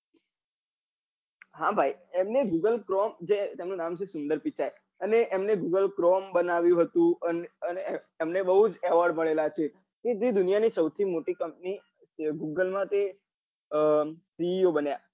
હા ભાઈ google chrome જે તેમનું નામે છે સુંદર પીચાઈ અને એમને google chrome બનાવ્યું હતું અને તેમને બઉ જ award મળેલા છે તે જે દુનિયા ની સૌથી મોટી company GOOGLE માંથી co બન્યા